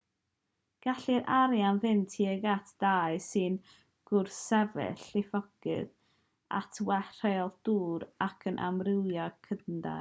gallai'r arian fynd tuag at dai sy'n gwrthsefyll llifogydd at well rheolaeth dŵr ac at amrywio cnydau